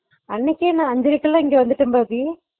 அன்னைக்கிகே நா அங்கருந்து இங்க வந்தபோது